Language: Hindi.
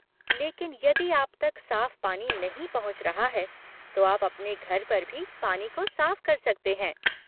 लेकिन यदि आप तक साफ़ पानी नहीं पहुँच रहा है, तो आप अपने घर पर भी पानी को साफ़ कर सकते हैं।